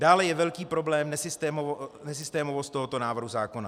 Dále je velký problém nesystémovost tohoto návrhu zákona.